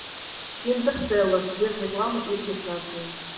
интерстеллар без рекламы и регистрации